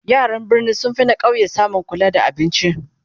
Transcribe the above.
yaran birni sun finna ƙauye samun kula da abinci